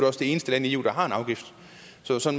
også det eneste land i eu der har en afgift